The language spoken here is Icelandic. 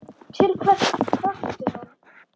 Til hvers þarftu hann?